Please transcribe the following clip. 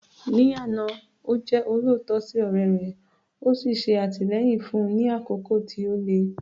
Ní àná, ó jẹ́ olóòótọ́ sí ọ̀rẹ́ rẹ̀, ó ń ṣe àtìlẹ́yìn fún un ní àkókò tí ó le.